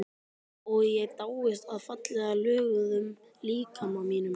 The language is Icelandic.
Og ég dáist að fallega löguðum líkama mínum.